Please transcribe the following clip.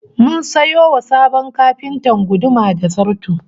Mun sayo wa sabon kafintan guduma da zarto